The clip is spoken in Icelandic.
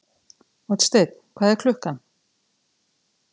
Oddsteinn, hvað er klukkan?